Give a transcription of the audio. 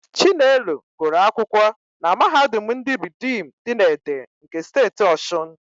Chinelo gụrụ akwụkwọ na Mahadum ndị Ridiim dị na Ede nke Steeti Ọshụn.